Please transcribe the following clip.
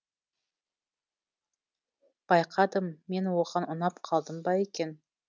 байқадым мен оған ұнап қалдым ба екен